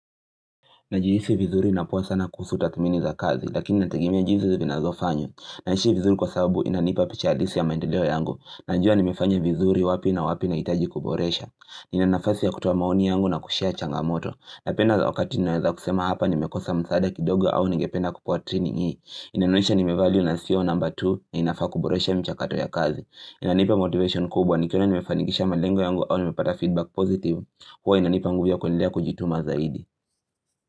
Najihisi vizuri napoa sana kuhusu tathmini za kazi, lakini nategemea jinsi zinazofanywa. Naishi vizuri kwa sababu inanipa picha halisi ya maendeleo yangu. Najua nimefanya vizuri wapi na wapi na hitaji kuboresha. Nina nafasi ya kutoa maoni yangu na kushare changamoto. Napenda wakati ninaweza kusema hapa nimekosa msaada kidogo au nigependa kupewa training hii. Inanonyesha nimevalio na sio namba tu na inafaa kuboresha mchakato ya kazi. Inanipa motivation kubwa nikiona nimefanikisha malengo yangu au nimepata feedback positive. Huwa inanipa nguvu ya kwendelea kujituma zaidi.